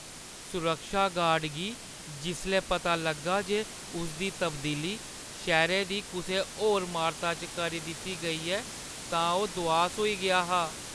सुरक्षा गार्ड गी जिसलै पता लग्गा जे उसदी तब्दीली शैह्‌रै दी कुसै होर अमारता च करी दित्ती गेई ऐ तां ओह् दुआस होई गेआ हा।